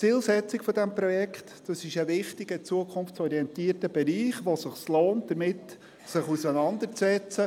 die Zielsetzung dieses Projekts – es handelt sich um einen wichtigen, zukunftsorientierten Bereich, sodass es sich lohnt, sich damit auseinanderzusetzen.